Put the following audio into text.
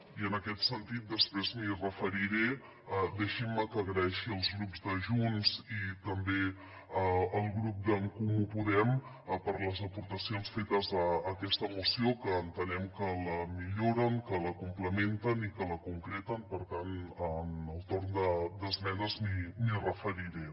i en aquest sentit després m’hi referiré deixin me que doni les gràcies al grup de junts i també al grup d’en comú podem per les aportacions fetes a aquesta moció que entenem que la milloren que la complementen i que la concreten per tant en el torn d’esmenes m’hi referiré